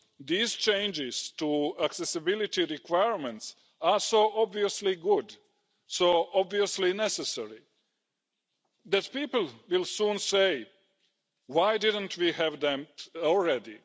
These changes to accessibility requirements are so obviously good, so obviously necessary, that people will soon say why did we not we have them already?